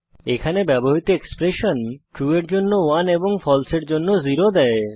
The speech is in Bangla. এখানে ব্যবহৃত এক্সপ্রেশন ট্রু এর জন্য 1 এবং ফালসে এর জন্য 0 দেয়